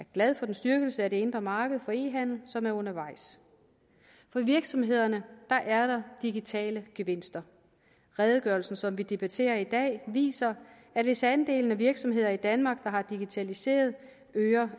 glad for den styrkelse af det indre marked for e handel som er undervejs for virksomhederne er der digitale gevinster redegørelsen som vi debatterer i dag viser at hvis andelen af virksomheder i danmark der har digitaliseret øger